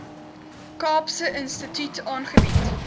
kaapse instituut aangebied